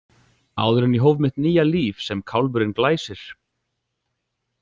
Áður en ég hóf mitt nýja líf sem kálfurinn Glæsir.